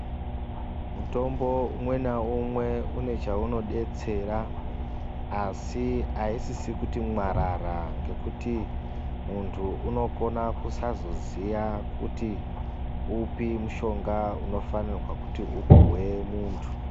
Mutombo umwe naumwe une chaunodetsera asi aisisi kuti mwarara ngekuti muntu unokona kusazoziya kuti upi mushonga unofanirwe kuti upuhwe muntu.